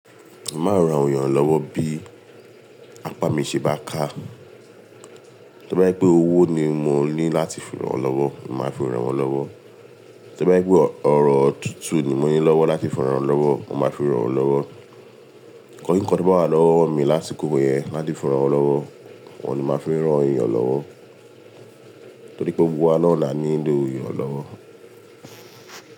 Mo màá rán awon èeyàn lọ́wọ́ bí apá mi ṣe bá ká. To bá jẹ pé owó ni mo ní láti fi rán lọ́wọ́, mo màá fi rán wọn lọ́wọ́. To bá jẹ pé ọ̀rọ̀ tútù ni mo ní lọ́wọ́ láti fi rán wọn lọ́wọ́, mo màá fi rán wọn lọ́wọ́. Nkan kińkan to bá lọ́wọ́ mi lásiko yẹn láti fi rán wọn lọ́wọ́, ohun ni mo màá fi n rán èeyàn lọ́wọ́. Torí pé gbogbo wa náá la nilo iranlọ́wọ́.